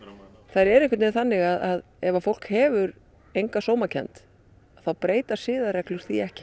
eru einhvern veginn þannig að ef fólk hefur enga sómakennd þá breyta siðareglur því ekki